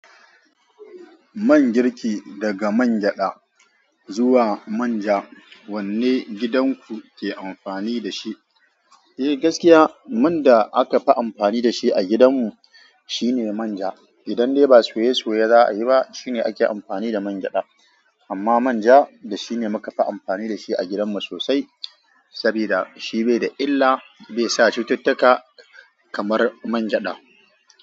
Man girki, daga man gyada zuwa manja wanne gidan ku ke amfani da shi? Eh gaskiya man da aka fi amfani da shi a gidan mu shine manja. Idan dai ba soye soye za a yi ba shine ake amfani da man gyada. Amma manja da shine muka fi amfani da shi a gidan mu sosai saboda shi bai da illa, bai sa cututtuka, kamar man gyada.